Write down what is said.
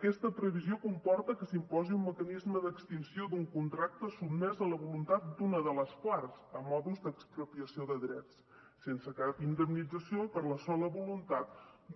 aquesta previsió comporta que s’imposi un mecanisme d’extinció d’un contracte sotmès a la voluntat d’una de les parts a manera d’expropiació de drets sense cap indemnització per la sola voluntat